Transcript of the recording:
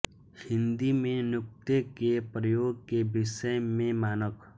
हिन्दी में नुक्ते के प्रयोग के विषय में मानक